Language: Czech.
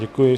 Děkuji.